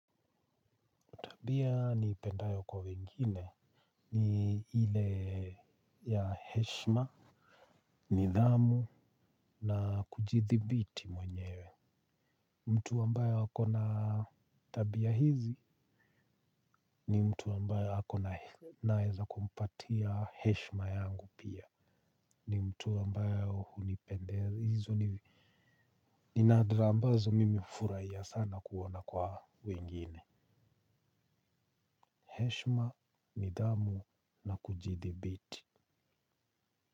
Tabia niipendayo kwa wengine ni ile ya heshima, nidhamu na kujithibiti mwenyewe. Mtu ambayo ako na tabia hizi ni mtu ambaye ako naweza kumpatia heshma yangu pia. Ni mtu ambayo hunipendelizo ni nadra ambazo mimi furahia sana kuona kwa wengine. Heshma, nidhamu na kujithibiti.